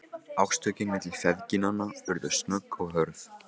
Átökin milli feðginanna urðu snögg og hörð.